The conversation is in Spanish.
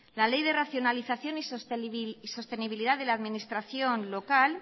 la ley de racionalización y sostenibilidad de la administración local